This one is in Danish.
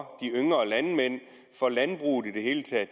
for landbruget i det hele taget